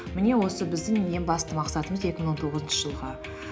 міне осы біздің ең басты мақсатымыз екі мың он тоғызыншы жылғы